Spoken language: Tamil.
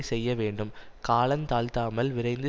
செய்ய வேண்டும் காலந்தாழ்த்தாமல் விரைந்து